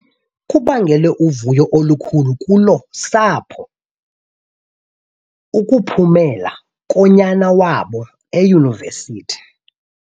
Kubangele uvuyo olukhulu kolo sapho ukuphhumela konyana wabo eyunivesithi.